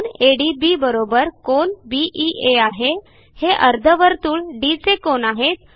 कोन ADB कोन BEA आहे हे अर्धवर्तुळ डी चे कोन आहेत